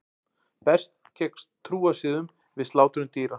Berst gegn trúarsiðum við slátrun dýra